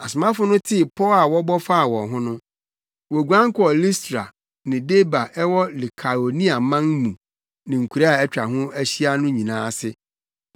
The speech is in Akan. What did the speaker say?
Asomafo no tee pɔw a wɔbɔ faa wɔn ho no, woguan kɔɔ Listra ne Derbe a ɛwɔ Likaoniaman mu ne nkuraa a atwa ho ahyia no nyinaa ase.